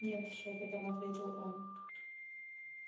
нет шёпотом ответил он